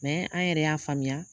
an yɛrɛ y'a faamuya;